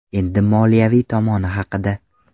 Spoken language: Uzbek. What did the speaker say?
Endi moliyaviy tomoni haqida.